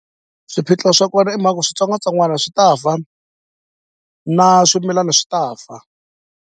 Swiphiqo swa kona i ku switsongwatsongwana swi ta fa na swimilana swi ta fa.